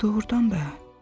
Doğrudan da.